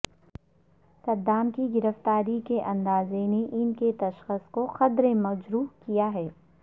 Saddam کی گرفتاری کے انداز نے ان کے تشخص کو قدرے مجروح کیا ہے